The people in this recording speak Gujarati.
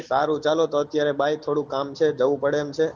સારું ચલો અત્યારે bye થોડું કામ છે જવું પડે એમ છે